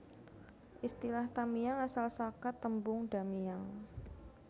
Istilah Tamiang asal saka tembung Da Miang